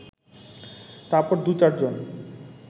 তারপর দু-চার জন